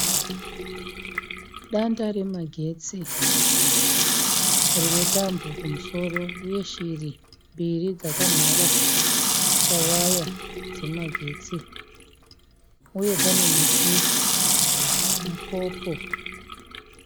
Danda remagetsi rine tambo kumusoro uye shiri mbiri dzakamhara pawaya dzemagetsi uye pane muti mupopo.